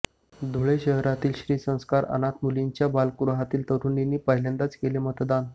धुळे शहरातील श्री संस्कार अनाथ मुलींच्या बालगृहातील तरुणींनी पहिल्यांदाच केले मतदान